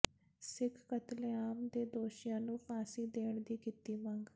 ਸਿੱਖ ਕਤਲੇਆਮ ਦੇ ਦੋਸ਼ੀਆਂ ਨੂੰ ਫਾਂਸੀ ਦੇਣ ਦੀ ਕੀਤੀ ਮੰਗ